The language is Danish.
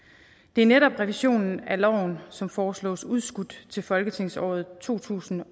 det er netop revisionen af loven som foreslås udskudt til folketingsåret to tusind og